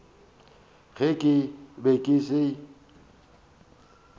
ge ke be ke se